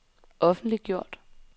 offentliggjort